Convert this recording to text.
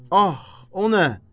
Ax, o nə?